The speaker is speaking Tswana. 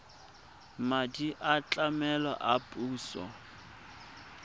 madi a tlamelo a puso